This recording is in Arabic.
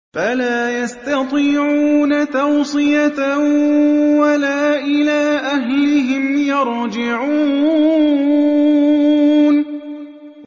فَلَا يَسْتَطِيعُونَ تَوْصِيَةً وَلَا إِلَىٰ أَهْلِهِمْ يَرْجِعُونَ